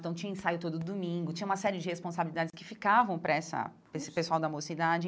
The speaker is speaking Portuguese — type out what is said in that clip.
Então, tinha ensaio todo domingo, tinha uma série de responsabilidades que ficavam para essa para esse pessoal da mocidade.